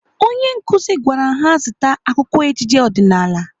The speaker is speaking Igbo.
Onye nkụzi gwara ha zụta akwụkwọ ejije ọdịnaala.